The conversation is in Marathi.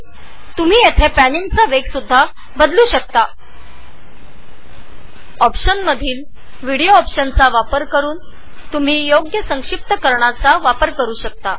तुम्ही येथे पॅनिंगचा वेगही निश्चित करु शकता